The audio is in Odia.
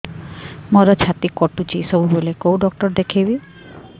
ମୋର ଛାତି କଟୁଛି ସବୁବେଳେ କୋଉ ଡକ୍ଟର ଦେଖେବି